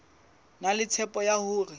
na le tshepo ya hore